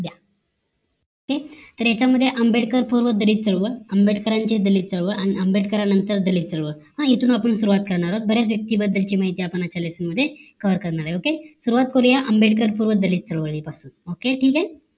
ते तर यांच्यामध्ये आंबेडकर पूर्व दलित चळवळ आंबेडकरची दलित चळवळ हान इथून आपण सुरुवात करणार आहोत okay सुरुवात करूया दलित चालुवाली पसून ठीक हे